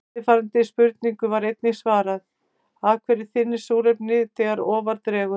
Eftirfarandi spurningu var einnig svarað: Af hverju þynnist súrefnið þegar ofar dregur?